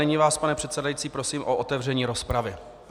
Nyní vás, pane předsedající, prosím o otevření rozpravy.